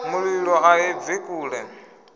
mulilo a i bvi kule